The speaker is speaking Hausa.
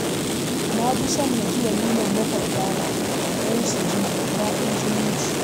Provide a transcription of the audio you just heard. Na fi son na je walimar maƙwabtana don su ji daɗin zumunci